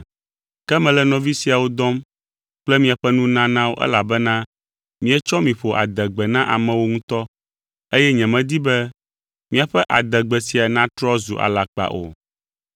Ke mele nɔvi siawo dɔm kple miaƒe nunanawo elabena míetsɔ mi ƒo adegbe na amewo ŋutɔ eye nyemedi be míaƒe adegbe sia natrɔ zu alakpa o.